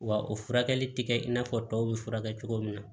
Wa o furakɛli tɛ kɛ i n'a fɔ tɔw bɛ furakɛ cogo min na